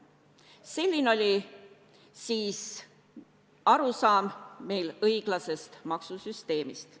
Selline oli siis meie arusaam õiglasest maksusüsteemist.